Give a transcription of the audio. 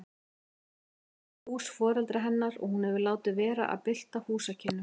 Þetta er hús foreldra hennar og hún hefur látið vera að bylta húsakynnum.